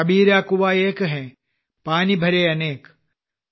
കബീരാ കുആം ഏക് ഹെ പാനി ഭരെ അനേക് ക